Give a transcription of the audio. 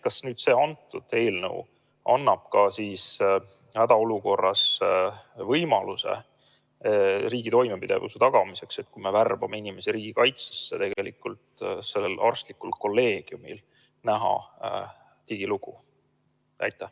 Kas see eelnõu annab hädaolukorras riigi toimepidevuse tagamiseks, kui me värbame inimesi riigikaitsesse, arstlikule kolleegiumile võimaluse näha digilugu?